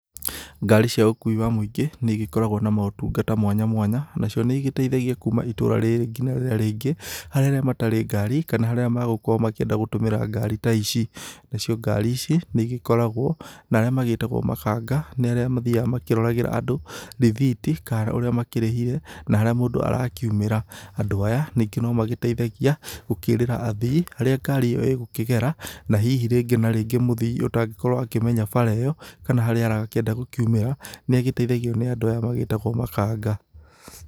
Ngari cia ũkui wa mũingi nĩ igĩkoragwo na motungata mwanya mwanya nacio nĩ igĩteithagi kuma itũra rĩrĩ nginya rĩrĩa rĩngĩ harĩa arĩa matarĩ ngarĩ kana arĩa mangĩenda gũkorwo magĩtumĩra ngari ta ici. Na cio ngari ta ici nĩ igĩkoragwo na arĩa magĩtagwo mabanga nĩ arĩa mathiaga makĩroragĩra andũ rĩthiti kana ũrĩa makĩrĩhire na harĩa mũndũ arakiumĩra. Andũ aya ningĩ no magĩteithagia gũkĩrĩĩra athii harĩa ngari ĩyo ĩgũkĩgera. Na hihi rĩngĩ na rĩngĩ mũthii ũtangĩkorwo akimenya bara ĩyo kana harĩa arakĩenda gũkiumĩra nĩ agĩteithagio nĩ andũ aya magĩtagwo mabanga.